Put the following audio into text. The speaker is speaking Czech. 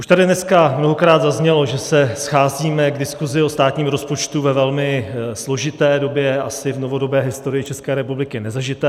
Už tady dneska mnohokrát zaznělo, že se scházíme k diskusi o státním rozpočtu ve velmi složité době, asi v novodobé historii České republiky nezažité.